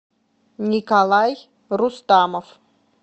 николай рустамов